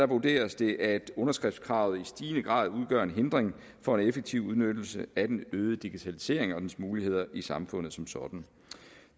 vurderes det at underskriftskravet i stigende grad udgør en hindring for en effektiv udnyttelse af den øgede digitalisering og dens muligheder i samfundet som sådan